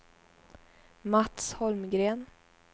Mats Holmgren